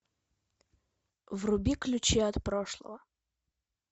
вруби ключи от прошлого